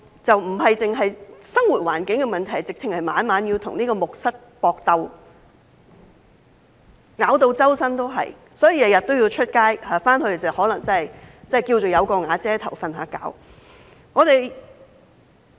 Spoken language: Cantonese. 不單是生活環境的問題，他們甚至要每晚與木蝨搏鬥，全身被咬，所以每天都要出外，回去睡覺可能只是因為尚算"有瓦遮頭"。